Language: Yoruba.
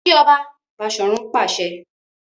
Ki ọba! Bashorun pàṣẹ.